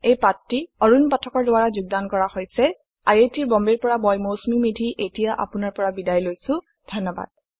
এই পাঠটি আৰুন পাঠকৰ দ্ৱাৰা যোগদান কৰা হৈছে আই আই টী বম্বে ৰ পৰা মই মৌচুমী মেধী এতিয়া আপুনাৰ পৰা বিদায় লৈছো যোগদানৰ বাবে ধন্যবাদ